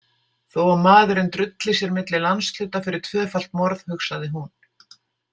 Þó að maðurinn drulli sér milli landshluta fyrir tvöfalt morð, hugsaði hún.